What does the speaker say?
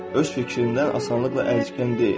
Öz fikrindən asanlıqla əl çəkən deyil.